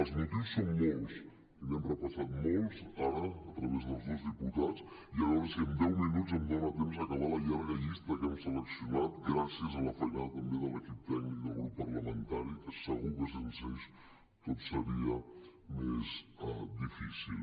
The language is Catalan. els motius són molts i n’hem repassat molts ara a través dels dos diputats i a veure si en deu minuts em dona temps d’acabar la llarga llista que hem seleccionat gràcies a la feinada també de l’equip tècnic del grup parlamentari que segur que sense ells tot seria més difícil